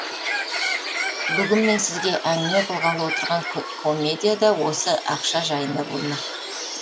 бүгін мен сізге әңгіме қылғалы отырған комедия да осы ақша жайында болмақ